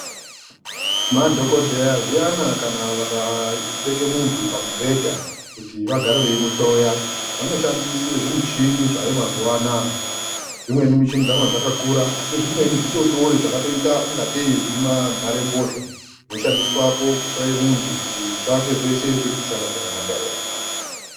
Madhokodheya zviyana kana vakabeka muntu pamubhedha, kuti vagare veimuhloya, vanoshandise zvimichini zvaayo mazuwa ana dzimweni michini dzakona dzakakura asi zvimweni zvidodori zvakatoite kunga tei zvima nharebhozha zvinoshandiswapo kuhloye muntu kuti zvake zvose zvirikushanda zvakanaka ere.